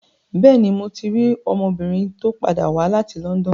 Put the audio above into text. Bẹ́ẹ̀ni, mo ti rí ọmọbìnrin tó padà wá láti London.